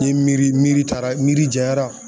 N ye miiri miiri taara miiri janyara